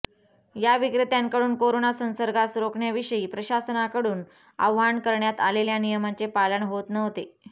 या विक्रेत्यांकडून कोरोना संसर्गास रोखण्याविषयी प्रशासनाकडून आवाहन करण्यात आलेल्या नियमांचे पालन होत नव्हते